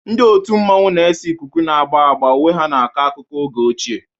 Ndị otu mmanwu na-ese ikuku na agba agba, uwe ha na-akọ akụkọ oge ochie.